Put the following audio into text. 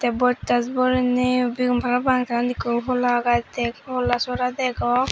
bojtat borey ney bigun parapang tey undi ekku hola gaj degong hola sora degong.